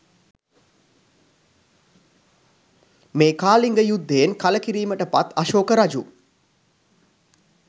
මේ කාලිංගයුද්ධයෙන් කළකිරීමට පත් අශෝක රජු